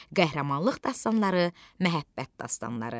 Qəhrəmanlıq dastanları, məhəbbət dastanları.